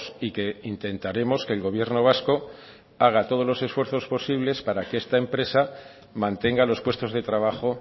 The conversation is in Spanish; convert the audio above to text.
y que intentaremos que el gobierno vasco haga todos los esfuerzos posibles para que esta empresa mantenga los puestos de trabajo